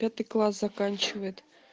пятый класс заканчивает